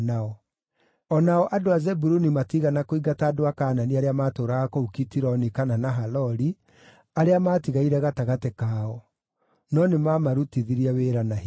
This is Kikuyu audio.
O nao andũ a Zebuluni matiigana kũingata andũ a Kaanani arĩa maatũũraga kũu Kitironi kana Nahaloli, arĩa maatigaire gatagatĩ kao; no nĩmamarutithirie wĩra na hinya.